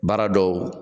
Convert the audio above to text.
Baara dɔw